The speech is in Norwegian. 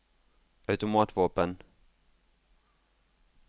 automatvåpen